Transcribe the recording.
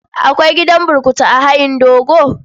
Akwai gidan burkutu a hayin dogo?